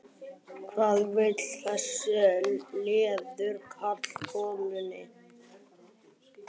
hvað vilja þessir leiðu karlar konunni?